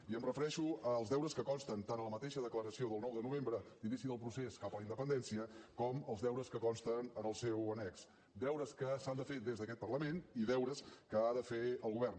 i em refereixo als deures que consten tant a la mateixa declaració del nou de novembre d’inici del procés cap a la independència com els deures que consten en el seu annex deures que s’han de fer des d’aquest parlament i deures que ha de fer el govern